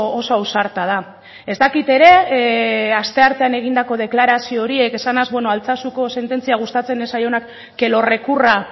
oso ausarta da ez dakit ere asteartean egindako deklarazio horiek esanaz altsasuko sententzia gustatzen ez zaionak que lo recurra